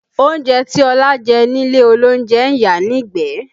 Oúnjẹ tí Ọlá jẹ nílé olóúnjẹ ń yàá nígbẹ̀ẹ́